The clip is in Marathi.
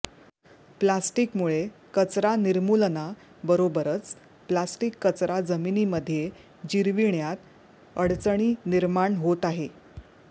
प्लॅस्टिकमुळे कचरा निर्मूलना बरोबरच प्लॅस्टिक कचरा जमिनीमध्ये जिरविण्यात अडचणी निर्माण होत आहे